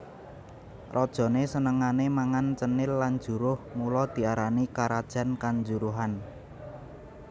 Rajané senengané mangan cenil lan juruh mula diarani karajan kanjuruhan